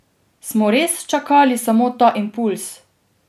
Smo res čakali samo ta impulz?